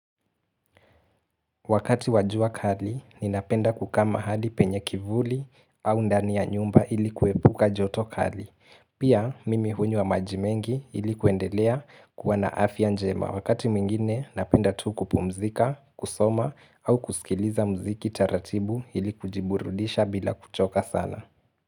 Wakati wa jua kali, ninapenda kukaa mahali penye kivuli au ndani ya nyumba ili kuepuka joto kali. Pia, mimi hunywa maji mengi ili kuendelea kuwa na afya njema. Wakati mwingine, napenda tu kupumzika, kusoma au kusikiliza mziki taratibu ili kujiburudisha bila kuchoka sana.